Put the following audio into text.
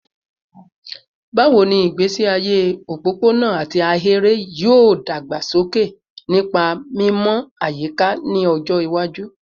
Bawo ni igbesi aye opopona ati ahere yoo dagbasoke nipa mimọ ayika ni ọjọ iwaju?